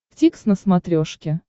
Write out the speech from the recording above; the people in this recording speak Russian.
дтикс на смотрешке